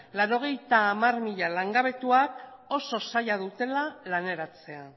laurogeita hamar mila langabetuak oso zaila dutela laneratzea